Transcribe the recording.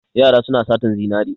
Yara suna satan zinare.